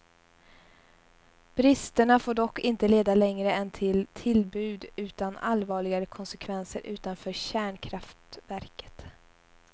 Bristerna får dock inte leda längre än till tillbud utan allvarligare konsekvenser utanför kärnkraftverket.